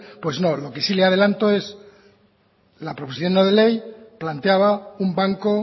pues no lo que sí le adelanto es que la proposición no de ley planteaba un banco